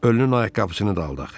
Ölünün ayaqqabısını da aldı axı.